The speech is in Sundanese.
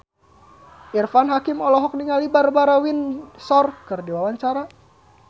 Irfan Hakim olohok ningali Barbara Windsor keur diwawancara